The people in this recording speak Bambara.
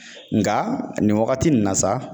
Nka nin wagati nin na sa